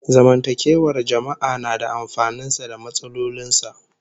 Zamantakewar jama'a na da amfanin sa da matsalolin sa